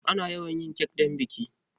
Ana yawan yin kek don biki.